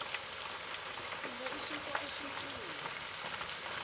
sidla isinkwa esinsundu